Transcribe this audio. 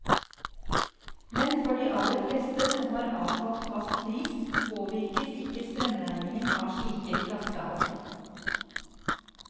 Men for de aller fleste, som har avtalt fast pris, påvirkes ikke strømregningen av slike flaskehalser.